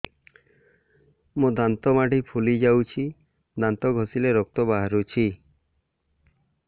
ମୋ ଦାନ୍ତ ମାଢି ଫୁଲି ଯାଉଛି ଦାନ୍ତ ଘଷିଲେ ରକ୍ତ ବାହାରୁଛି